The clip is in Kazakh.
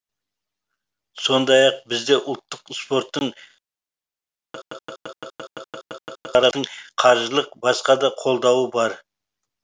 сондай ақ бізде ұлттық спорттың қаржылық басқа да қолдауы бар